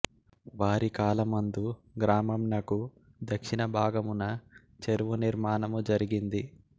వారి కాలమందు గ్రామంనకు దక్షిణ భాగమున చెరువు నిర్మాణము జరిగింది